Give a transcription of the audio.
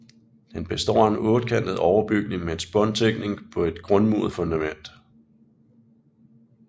Den består af en ottekantet overbygning med spåntækning på et grundmuret fundament